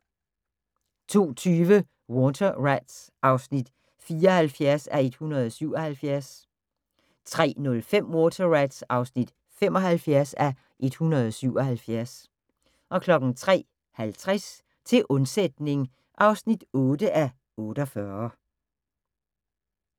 02:20: Water Rats (74:177) 03:05: Water Rats (75:177) 03:50: Til undsætning (8:48)